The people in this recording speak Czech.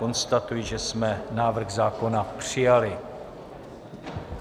Konstatuji, že jsme návrh zákona přijali.